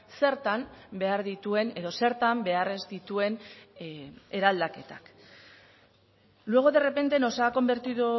zertan behar dituen edo zertan behar ez dituen eraldaketak luego de repente nos ha convertido